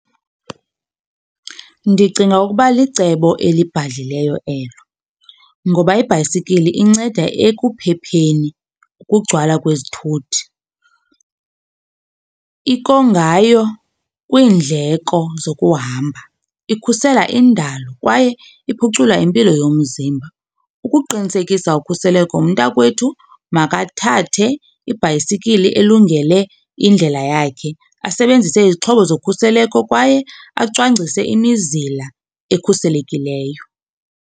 Ndicinga ukuba licebo elibhadlileyo elo ngoba ibhayisikili inceda ekuphepheni ukugcwala kwezithuthi. kwiindleko zokuhamba ikhusela indalo kwaye iphucula impilo yomzimba. Ukuqinisekisa ukhuseleko, umntakwethu makathathe ibhayisikili elungele indlela yakhe, asebenzise izixhobo zokhuseleko kwaye acwangcise imizila ekhuselekileyo.